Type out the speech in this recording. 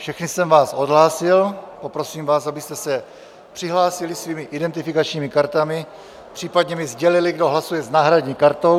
Všechny jsem vás odhlásil, poprosím vás, abyste se přihlásili svými identifikačními kartami, případně mi sdělili, kdo hlasuje s náhradní kartou.